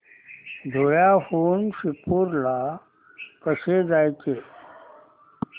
धुळ्याहून शिरपूर ला कसे जायचे